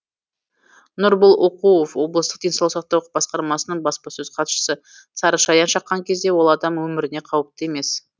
нұрбол оқуов облыстық денсаулық сақтау басқармасының баспасөз хатшысы сарышаян шаққан кезде ол адам өміріне қауіпті емес